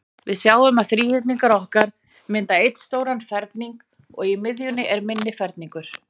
Við sjáum að þríhyrningarnir okkar mynda einn stóran ferning, og í miðjunni er minni ferningur.